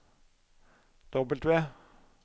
W